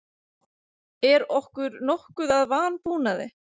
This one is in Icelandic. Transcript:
Er okkur nokkuð að vanbúnaði?